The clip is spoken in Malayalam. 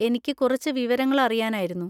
എനിക്ക് കുറച്ച് വിവരങ്ങൾ അറിയാനായിരുന്നു.